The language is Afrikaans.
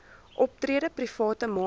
optrede private maatskappye